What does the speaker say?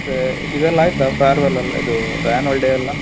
ಮತ್ತೆ ಇದೆಲ್ಲ ಆಯ್ತಾ farewell ಎಲ್ಲಾ ಇದು annual day ಎಲ್ಲಾ?